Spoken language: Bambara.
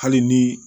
Hali ni